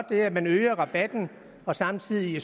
det at man øger rabatten og samtidig